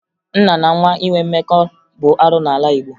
Nna na nwa inwe mmekọ bụ arụ n'ala Igbo